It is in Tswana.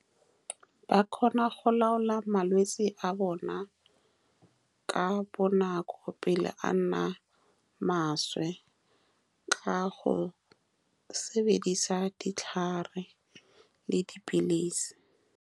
Ba kgona go laola malwetsi a bona ka bonako pele a nna maswe, ka go sebedisa ditlhare le dipilisi.